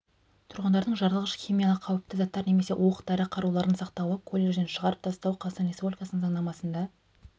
тұрғындардың жарылғыш химиялық қауіпті заттар немесе оқ дәрі қаруларын сақтауы колледжден шығарып тастау қазақстан республикасының заңнамасында